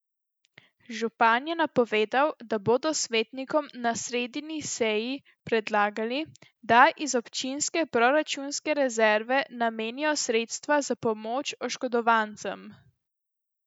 Župan je napovedal, da bodo svetnikom na sredini seji predlagali, da iz občinske proračunske rezerve namenijo sredstva za pomoč oškodovancem.